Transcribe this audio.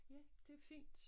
Ja det fint